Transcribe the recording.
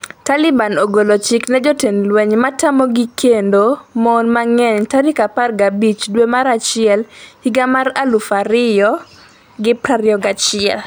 Taliban ogolo chik ne jotend lweny matamogi kendo mon mang'eny tarik 15 dwe mar achiel higa mar 2021